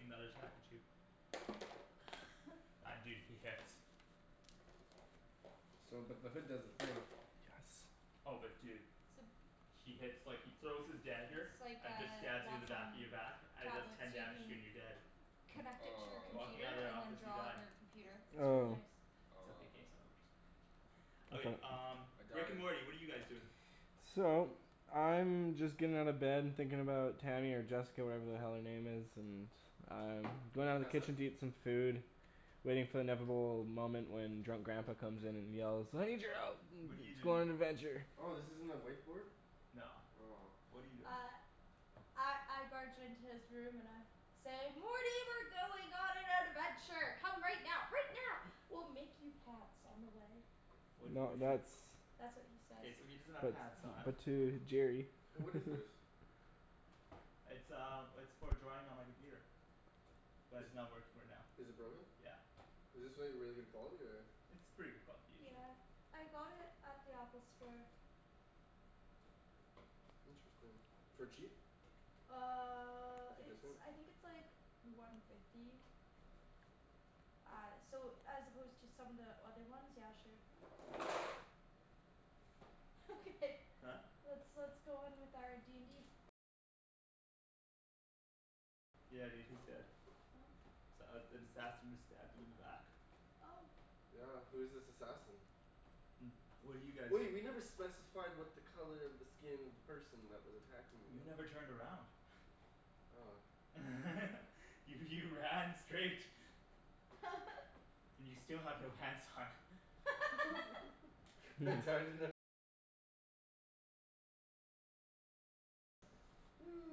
another attack at you. And dude, he hits. So but the hood does the thing. Yes. Oh but dude. So He hits like, he throws his dagger It's like and it just a stabs you in the back Wacom in your back and it does tablet ten so you damage to you can and you're dead. connect it to your Walking Aw computer out of that and then office you draw die. on your computer. It's really Oh. nice. It's okay, what you Aw said. Okay Okay. um I Rick and died. Morty, what are you guys doing? So, I'm just getting out of bed and thinking about Tammy or Jessica or whatever the hell her name is, and I'm Oh going can you down to the pass that? kitchen to eat some food. Waiting for the inevitable moment when drunk grandpa comes in and yells "I need your help What're you let's go doing? on an adventure!" Oh this isn't a whiteboard? No. Aw What're you doing? Uh I I barge into his room and I say "Morty we're going on an adventure. Come right now, right now. We'll make you pants on the way." What No what do you that's That's what he says. K, so he doesn't have But pants on. but to Jerry Hey what is this? It's um it's for drawing on my computer. But Is it's not working right now. is it broken? Yeah. Is this like really good quality or? It's pretty good quality usually. Yeah, I got it at the Apple store. Interesting. For cheap? Uh With your it's, discount? I think it's like one fifty. Uh so as opposed to some of the other ones, yeah sure. Okay, Huh? let's let's go on with our d n d Yeah dude, he's dead. Oh S- uh, an assassin just stabbed him in the back. Oh Yeah, who's this assassin? What do you guys Wait, we never specified what the color of the skin of the person that was attacking me You was. never turned around. Oh. You you ran straight. You still have no pants on.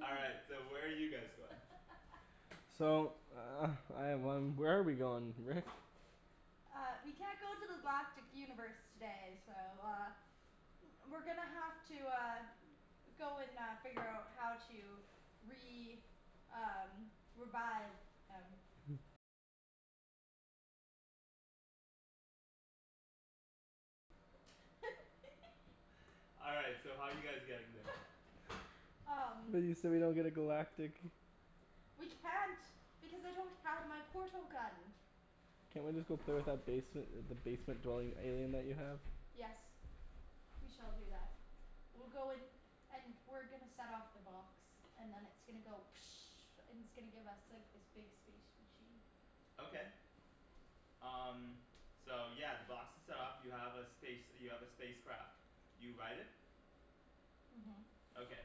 All right, so where are you guys going? So I have one, where are we going, Rick? Uh we can't go to the galactic universe today so uh We're gonna have to uh go and uh figure out how to re- um revive him. All right, so how are you guys getting there? um We so we don't get a galactic We can't because I don't have my portal gun. Can't we just go play with that basement the basement dwelling alien that you have? Yes. We shall do that. We'll go and and we're gonna set off the box. And then it's gonna go and it's gonna give us like this big space machine. Okay. Um so yeah, the box is set off. You have a space you have a space craft. You ride it. Mhm. Okay.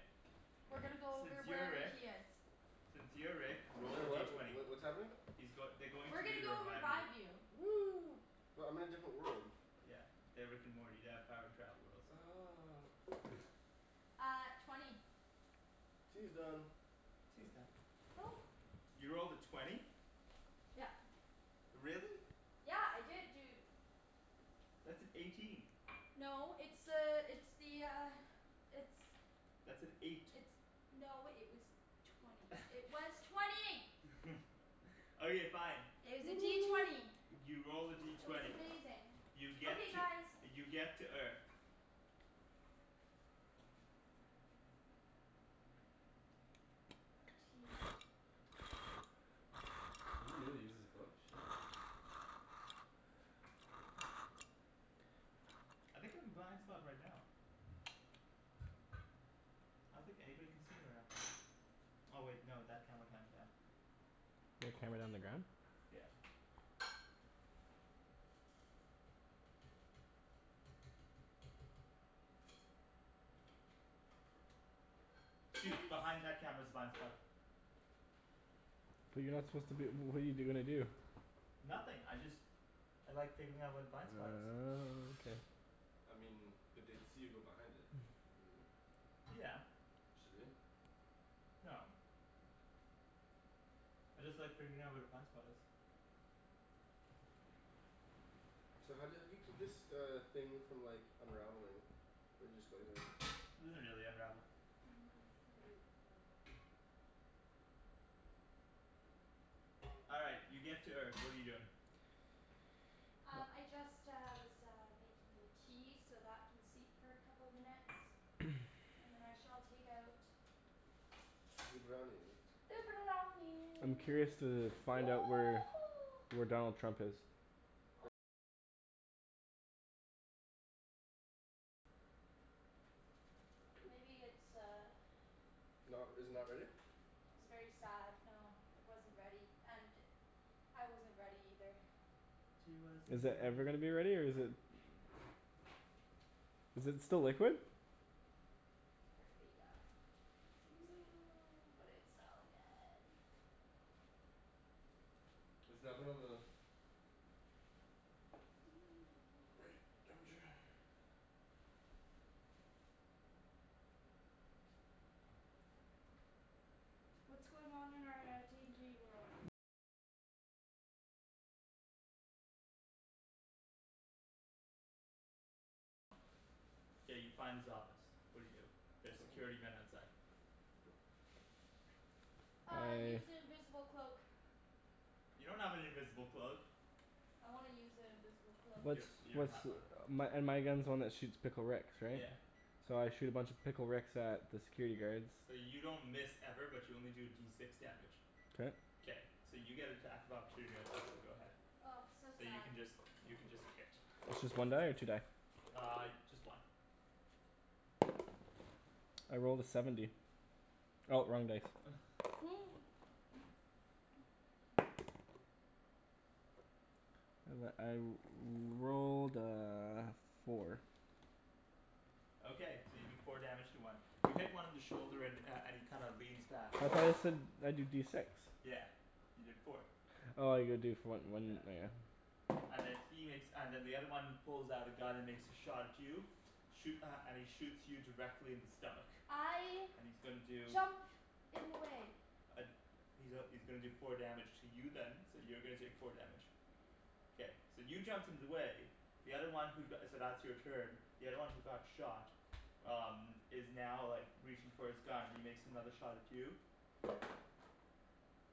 We're gonna go Since over you're wherever Rick. he is. Since you're Rick, roll the Sorry D what? Wh- twenty. wh- what's happening? He's goi- they're going We're to you gonna to go revive you. revive you. Woo but I'm in a different world. Yeah. They're Rick and Morty. They have the power to travel worlds. Oh Uh twenty Tea is done. Tea's done. Oh. You rolled a twenty? Yep. Really? Yeah. I did dude. That's an eighteen. No it's uh it's the uh it's That's an eight. It's no it was twenty. It was twenty! Okay, fine. It was a D twenty. You rolled a D It was twenty. amazing. You get Okay to guys. you get to Earth. Tea. You really use this book? Shit. I think I'm a blind spot right now. I don't think anybody can see me right now. Oh wait, no that camera can, damn. There are cameras on the ground? Yeah. Dude, behind that camera's Tasty. a blind spot. But you're not supposed to b- what're you gonna do? Nothing, I just I like figuring out where the blind spot is. Oh okay. I mean, but they'd see you go behind it. Yeah. Should we? No. I just like figuring out where the blind spot is. So how do you how do you keep this uh thing from like unraveling? Or do you just go like this? It doesn't really unravel. Mm, maybe a bit more. All right, you get to Earth. What are you doing? Um I just uh was uh making the tea, so that can steep for a couple minutes. And then I shall take out Zee brownies. the I'm brownie curious to find out where where Donald Trump is. Maybe it's uh Not r- is it not ready? It was very sad, no. It wasn't ready, and I wasn't ready either. He wasn't Is that ready. ever gonna be ready or is it Is it still liquid? Apparently yeah, seems like it. But it's so good. Is the oven on the right temperature? K, you find his office. What do you do? There's security men outside. Uh, I use the invisible cloak. You don't have an invisible cloak. I wanna use an invisible cloak. You Let's don- you don't let's, have one. my and my gun's the one that shoots Pickle Ricks, right? Yeah. So I shoot a bunch of Pickle Ricks at the security guards. So you don't miss ever, but you only do D six damage. K. K, so you get attack of opportunity right now, so go ahead. Oh so So you sad. can just you can just hit. It's just one die or two die? Uh, just one. I rolled a seventy. Oh wrong dice. I rolled a four. Okay, so you do four damage to one. You hit one in the shoulder and uh and he kind of leans back. I thought you said I do D six. Yeah, you did four. Oh you gotta do for when Yeah. when oh yeah. And then he makes, and then the other one pulls out a gun and makes a shot at you. Shoo- uh, and he shoots you directly in the stomach. I And he's gonna do jump in the way. Uh he's a- he's gonna do four damage to you then, so you're gonna take four damage. Okay. K, so you jumped in the way, the other one who go- so that's your turn. The other one who got shot um is now like reaching for his gun and he makes another shot at you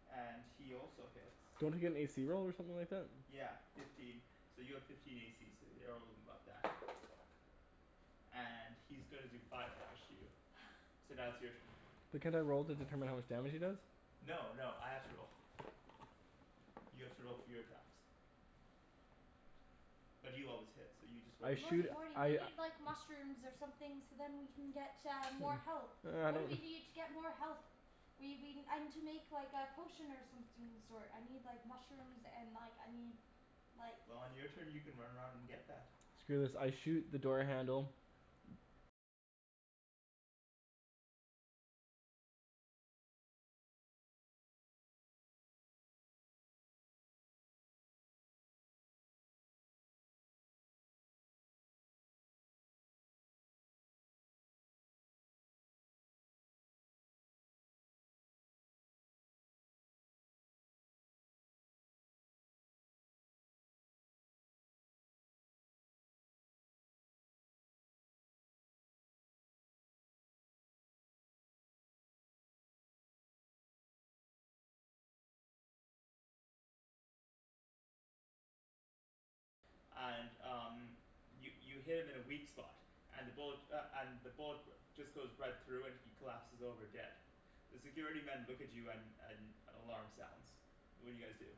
and he also hits. Don't I get an a c roll or something like that? Yeah, fifteen. So you have fifteen a c so you're And he's gonna do five damage to you. So now it's your turn. But can't I roll to determine how much damage he does? No, no, I have to roll. You have to roll for your attacks. But you always hit, so you just roll a I D shoot Morty, six. Morty we I need like mushrooms or something so then we can get uh more health. What do we need to get more health? We we, I need to make like a potion or something of the sort. I need like mushrooms and like I need like Well on your turn you can run around and get that. Screw this, I shoot the door handle And um, you you hit him in a weak spot, and the bullet uh and the bullet just goes right through and he collapses over dead. The security men look at you and and an alarm sounds. What do you guys do?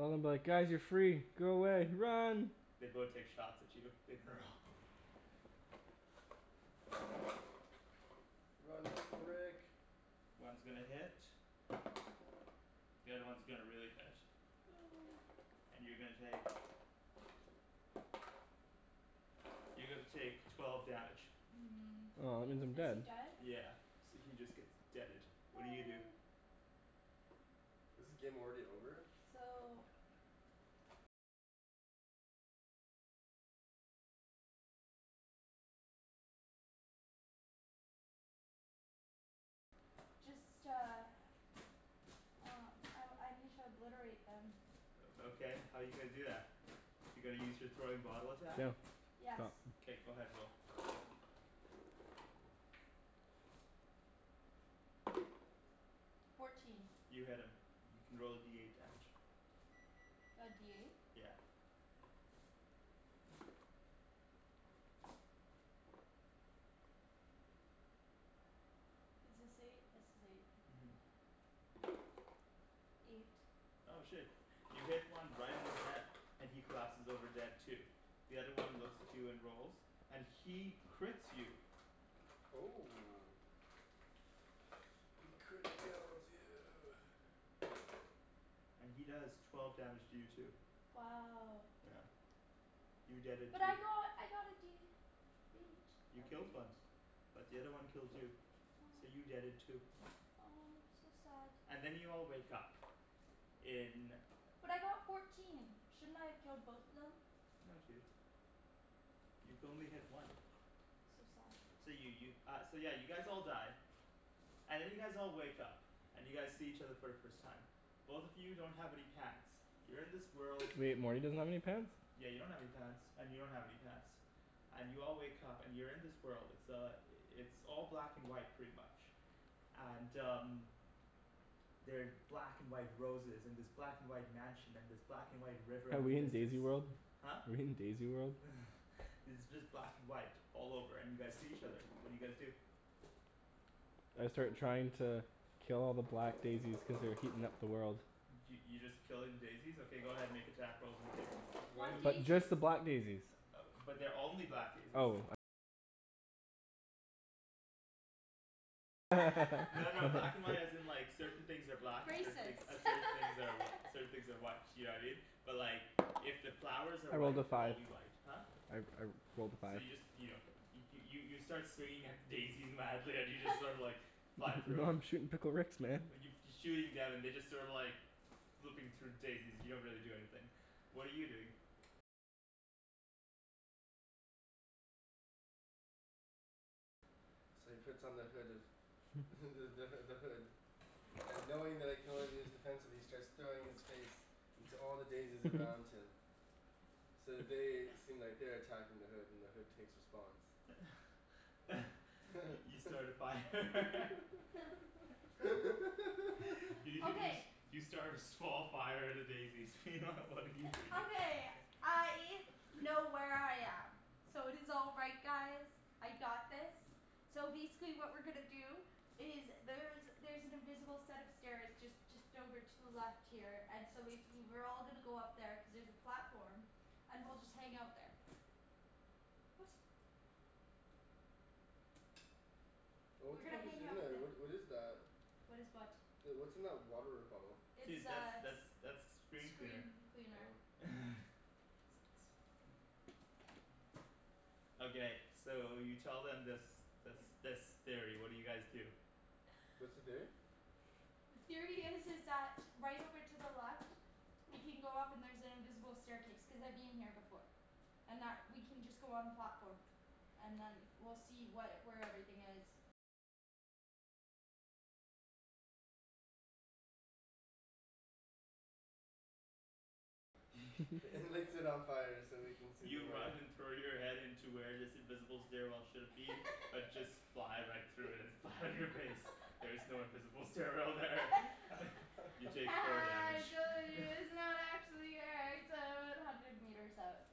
Well I'm like "Guys you're free. Go away. Run!" They both take shots at you. Make a roll. Run, Pickle Rick! One's gonna hit. The other one's gonna really hit. And you're gonna take you're gonna take twelve damage. Hmm, Oh that means I'm is he dead. dead? Yeah, so he just gets deaded. What do you do? Aw. Is the game already over? No, So no. Um I I need to obliterate them. O okay, how're you gonna do that? You're gonna use your throwing bottle attack? Yes. Somethin' K, go ahead, roll. Fourteen. You hit him. You can roll a D eight damage. The D eight? Yeah. Is this eight? This is eight. Mhm. Eight. Oh shit. You hit one right in the head, and he collapses over dead too. The other one looks at you and rolls, and he crits you Oh. He criticaled you! and he does twelve damage to you too. Wow. Yeah. You deaded But too. I got I got a D H You out of killed one. eight. But the other one killed you. So Aw. you deaded too. Oh, so sad. And then you all wake up in But I got fourteen, shouldn't I have killed both of them? No dude. You could only hit one. So sad. So you you uh yeah so you guys all die. And then you guys all wake up, and you guys see each other for the first time. Both of you don't have any pants. You're in this world Wait, Morty doesn't have any pants? Yeah you don't have any pants and you don't have any pants. And you all wake up and you're in this world. It's uh it's all black and white pretty much. And um They're black and white roses and this black and white mansion and this black and white river Are in the we in distance. Daisy World? Huh? We in Daisy World? It's just black and white all over and you guys see each other. What do you guys do? I Um start trying to kill all the black daisies cuz they're heatin' up the world. Y- y- you just killing daisies? Okay go ahead, make attack rolls on the daisies. Why Why do you But just daisies? the black daisies. But they're only black daisies. No no black and white as in like certain things are black and certain Racist. thing uh certain things are certain things are white, you know what I mean? But like if the flowers are I rolled white, a they'll all five. be white. Huh? I I rolled a So five. you just you don't hit 'em. You you start swinging at the daisies madly and you just sorta like fly through Yo 'em. I'm shootin' Pickle Ricks man. And you f- you're shooting them and they're just sort of like flipping through daisies, they don't really do anything. What are you doing? So he puts on the hood of the the h- the hood. And knowing that it can only be used defensively he starts throwing his face into all the daisies around him. So they seem like they're attacking the hood and the hood takes response. You start a fire. Y- you s- Okay. you start a small fire at a daisy. What are you doing? Okay, I know where I am. So it is all right guys. I got this. So basically what we're gonna do is there's there's an invisible set of stairs just just over to the left here and so basically we're all gonna go up there cuz there's a platform. And we'll just hang out there. What? Oh what We're the gonna heck is hang in out there? the- What what is that? . What is what? The, what's in that water bottle? It's Dude, that's uh that's that's screen cleaner. screen cleaner. Oh. Okay, so you tell them this this this theory, what do you guys do? What's the theory? The theory is is that right over to the left we can go up and there's an invisible staircase, cuz I've been here before. And that we can just go on platform and then we'll see what, where everything is. And lights it on fire so we can see You the way. run and throw your head into where this invisible stairwell should've been, but just fly right through it and land on your face. There is no invisible stairwell there. You take Ha four ha damage I trolled you it's not actually here it's o- about hundred meters up.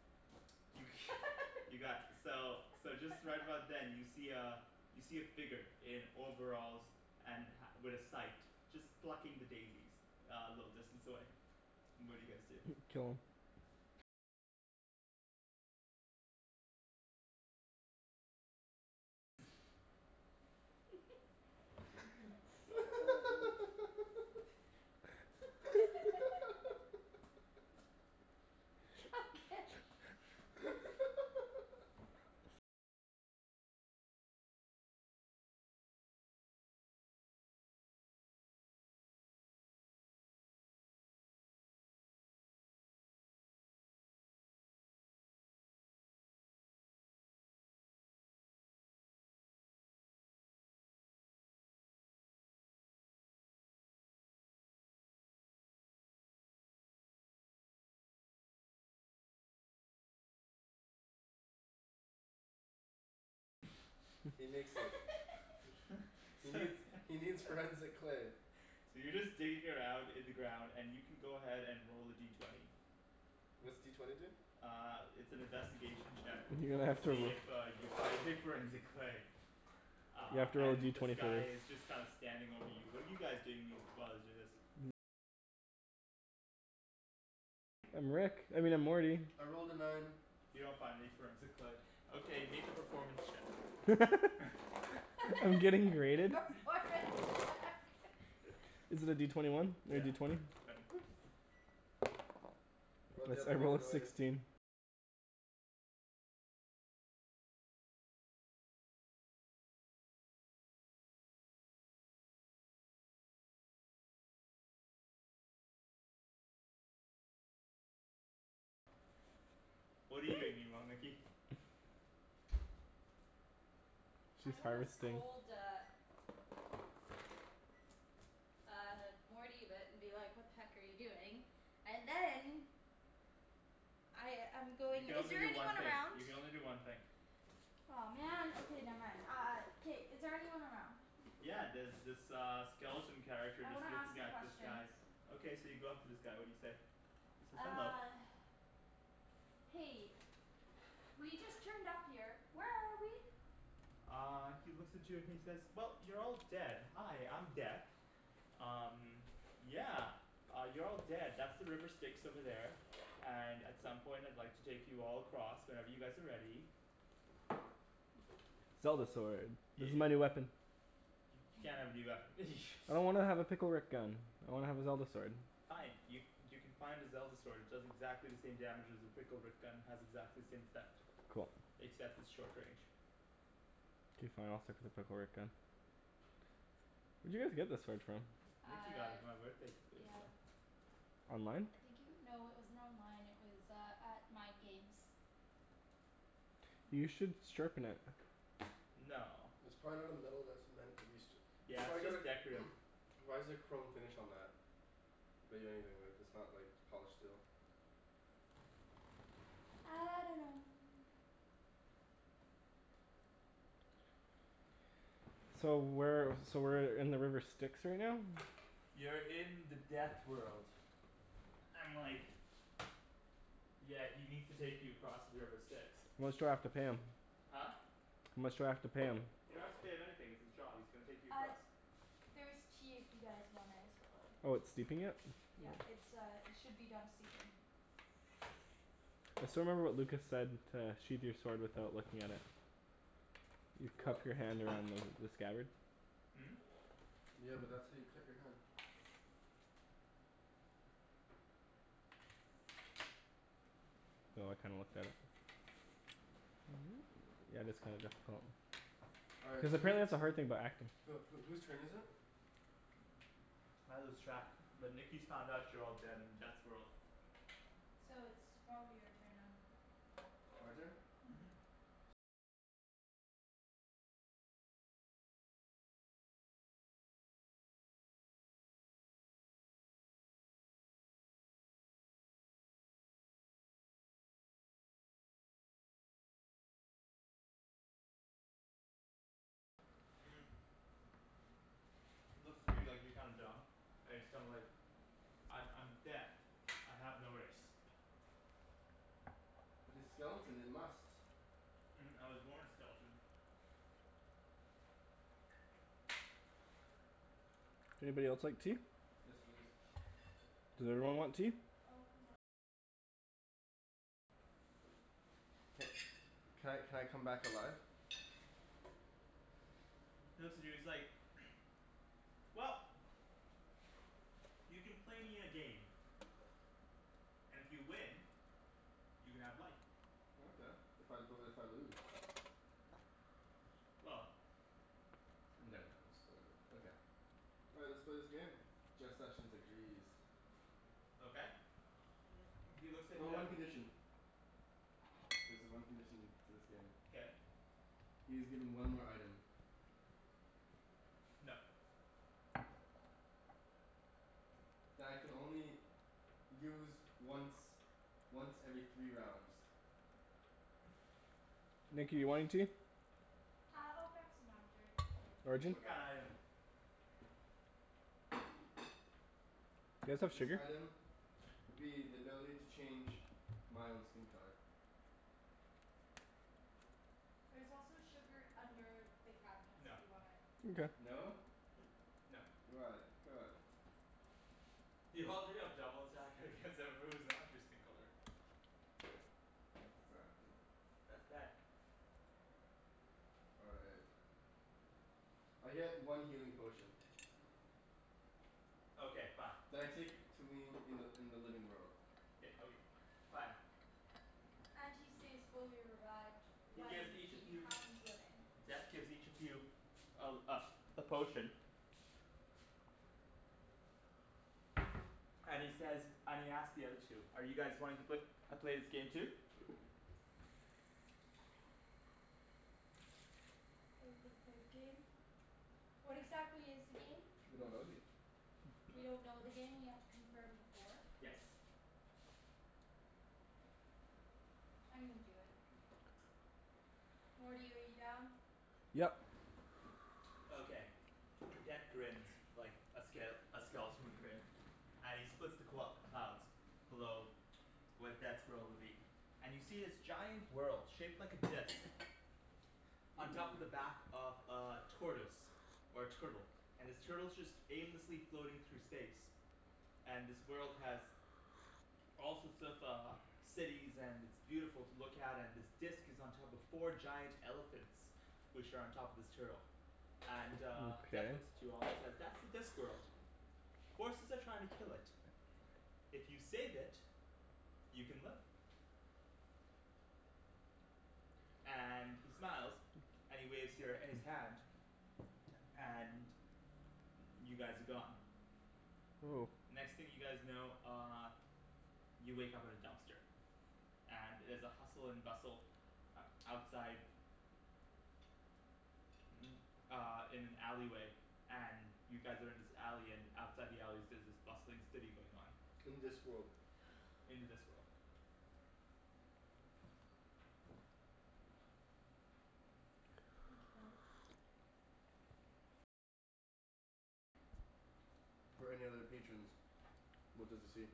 You got, so so just right about then you see uh you see a figure in overalls and ha- with a sight. Just plucking the daisies a little distance away. What do you guys do? Kill him. So bad dude. Okay He nicks it. He needs he needs forensic clay. So you're just digging around in the ground and you can go ahead and roll a D twenty. What's D twenty do? Uh it's an investigation check You're gonna to have to ro- see if uh you find your forensic clay. You Uh have to roll and D this twenty for guy this. is just kind of standing over you. What are you guys doing mean- while he's doing this? I'm Rick. I mean I'm Morty. I rolled a nine. You don't find any forensic clay. Okay, make a performance check. I'm getting rated? Performance check Is it a D twenty one? Or a Yeah. D twenty? Twenty. Or they It's, haven't I made a rolled a noise. sixteen. What're you doing meanwhile, Nikki? I'm She's gonna harvesting. scold uh Uh Morty but and be like "What the heck are you doing?" And then I I'm You going, can is only there do one anyone thing. around? You can only do one thing. Aw man. Okay, never mind. Uh K, is there anyone around? Yeah, there's this uh skeleton character I just wanna ask looking him at this guy. questions. Okay, so you go up to this guy. What do you say? He says "Hello." Uh Hey, we just turned up here. Where are we? Uh he looks at you and he says "Well, you're all dead. Hi, I'm Death." "Um, yeah, you're all dead. That's the river Styx over there." "And at some point I'd like to take you all across, whenever you guys are ready." Zelda sword. This Yeah. is my new weapon. You can't have a new weapon. I don't wanna have a Pickle Rick gun. I wanna have a Zelda sword. Fine. Y- you can find a Zelda sword. It does exactly the same damage as your Pickle Rick gun, has exactly the same effect. Cool. Except it's short range. K, fine, I'll stick with the Pickle Rick gun. Where'd you guys get this sword from? Nikki got it Uh for my birthday couple years yeah. ago. Online? I think it w- no it wasn't online. It was uh at Mind Games. You should sharpen it. No. It's probably not a metal that's meant to be st- it's Yeah, probably it's got a just decorative. why is there chrome finish on that? Bet you anything that that's not like polished steel. I dunno. So where so we're in the river Styx right now? You're in the death world. And like Yeah, he needs to take you across the river Styx. How much do I have to pay him? Huh? How much do I have to pay him? Didn't have to pay him anything; it's his job. He's gonna take you Uh, across. there's tea if you guys want there as well. Oh it's steeping it? Yeah, it's uh it should be done steeping. I still remember what Lucas said to sheathe your sword without looking at it. You What? cup your hand around the the scabbard. Hmm? Yeah, but that's how you cut your hand. Oh I kinda looked that up. Yeah, that's kind of difficult. All right, Cuz so whose apparently that's a hard thing about acting. Who who whose turn is it? I lose track, but Nikki's found out you're all dead in Death's world. So it's probably your turn then. My turn? Mhm. Mhm. He looks at you like you're kinda dumb, and he's kinda like "I'm I'm Death. I have no race." But his skeleton, it must. "I was born a skeleton." Anybody else like tea? Yes, please. Does everyone want tea? Ca- can I can I come back alive? He looks at you he's like "Well, you can play me in a game, and if you win, you can have life. Okay. If I, but if I lose? Well I'm done, Daniel, I'm still good. All right, let's play this game. Jeff Sessions agrees. Okay he looks at Oh, the one condition. There's a one condition to this game. Okay He is given one more item. No. That I can only use once once every three rounds. Nikki you want any tea? Uh I'll grab some after, it's okay. Thank Arjan? you What though. kinda item? Do you guys have This sugar? item would be the ability to change my own skin color. There's also sugar under the cabinets if No. you want it. Mkay. No? No. Why? Come on. You already have double attack against everybody who's not your skin color. Exactly. That's bad. All right. I get one healing potion. Okay fine. You That I take to me in the in the living world. K okay, fine. And he stays fully erect He when gives each he of you, becomes living. Death gives each of you a uh a potion and he says, and he asks the other two: "Are you guys wanting to pla- play this game too?" Are we gonna play the game? What exactly is the game? We don't know yet. We don't know the game and we have to confirm before? Yes. I'm gonna do it. Morty, are you down? Yep. Okay. Okay. Death grins like a ske- a skeleton would grin. And he splits the qu- the clouds below where Death's world would be, and you see this giant world shaped like a disc on top of Mmm. the back of a tortoise or a turtle, and this turtle's just aimlessly floating through space. And this world has all sorts of uh cities and it's beautiful to look at and this disc is on top of four giant elephants which are on top of this turtle. And uh Death Mkay. looks at you all and says "That's the Discworld." "Forces are trying to kill it. If you save it, you can live." And he smiles and he waves your his hand. And y- you guys are gone. Oh. The next thing you guys know uh you wake up at a dumpster. And it is a hustle and bustle outside uh in an alley way and you guys are in this alley and outside the alleys there's this bustling city going on. In Discworld. In the Discworld. Mkay. for any other patrons. What does he see?